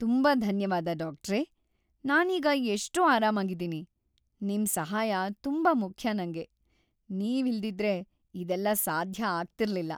ತುಂಬಾ ಧನ್ಯವಾದ, ಡಾಕ್ಟ್ರೇ! ನಾನೀಗ ಎಷ್ಟೋ ಆರಾಮಾಗಿದೀನಿ. ನಿಮ್ ಸಹಾಯ ತುಂಬಾ ಮುಖ್ಯ ನಂಗೆ. ನೀವಿಲ್ದಿದ್ರೆ ಇದೆಲ್ಲ ಸಾಧ್ಯ ಆಗ್ತಿರ್ಲಿಲ್ಲ.